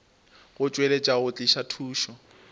go tšweletša go tliša thušo